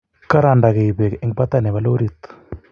karandagei pek eng patai nepo lorit